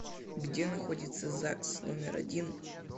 где находится загс номер один